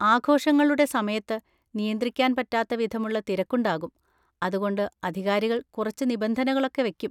ആഘോഷങ്ങളുടെ സമയത്ത് നിയന്ത്രിക്കാൻ പറ്റാത്ത വിധമുള്ള തിരക്കുണ്ടാകും, അതുകൊണ്ട് അധികാരികൾ കുറച്ച് നിബന്ധനകളൊക്കെ വെക്കും.